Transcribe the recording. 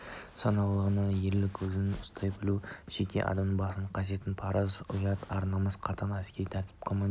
саналылығы ерлік өзін-өзі ұстай білу жеке басының қасиеттері парыз ұят ар-намыспен қатаң әскери тәртіппен командирдің